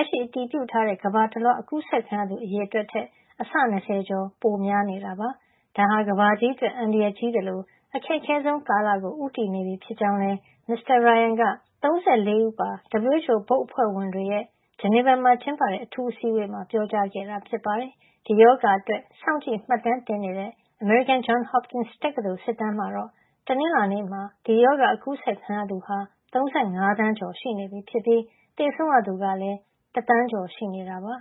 က်ရှိ အတည်ပြုထားတဲ့ ကမ္ဘာတလွှား အကူးစက်ခံရသူ အရေအတွက်ထက် အဆ ၂၀ ကျော် ပိုများနေတာပါ။ ဒါဟာ ကမ္ဘာကြီးအတွက် အန္တရာယ်ကြီးသလို အခက်ခဲဆုံးကာလကို ဦးတည်နေပြီဖြစ်ကြောင်းလည်း Michael Ryan က ၃၄ ဦးပါ WHO ဘုတ်အဖွဲ့ဝင်တွေရဲ့ Geneva မှာ ကျင်းပတဲ့ အထူးအစည်းအဝေးမှာ ပြောကြားခဲ့တာ ဖြစ်ပါတယ်။ ဒီရောဂါအတွက် စောင့်ကြည့်မှတ်တမ်းတင်နေတဲ့ အမေရိကန် Johns Hopkins တက္ကသိုလ် စစ်တမ်းမှာတော့ တနင်္လာနေ့မှာ ဒီရောဂါ အကူးစက်ခံရသူဟာ ၃၅ သန်းကျော် နေပြီဖြစ်ပြီး၊ သေဆုံးရသူကလည်း ၁ သန်းကျော် ရှိနေတာပါ။